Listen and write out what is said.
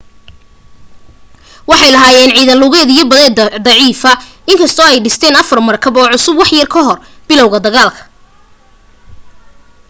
waxay lahaayeen ciidan lugeed iyo badeed daciifa in kastoo ay dhisteen afar markab oo cusub wax yar ka hor bilowga dagaalka